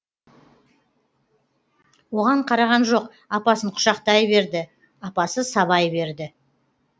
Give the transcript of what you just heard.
оған қараған жоқ апасын құшақтай берді апасы сабай берді